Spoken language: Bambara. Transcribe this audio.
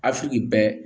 Afiriki bɛɛ